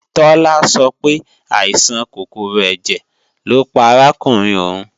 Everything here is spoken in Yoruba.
Tọ́lá sọ pé, àìsàn kòkòrò ẹ̀jẹ̀ lọ́ pa arákùnrin òun